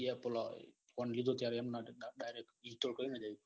એ પેલા ફોન લીધો ત્યારે કઈ નાટક direct ગીતો કરીને જ